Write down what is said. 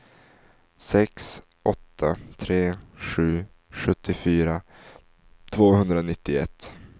sex åtta tre sju sjuttiofyra tvåhundranittioett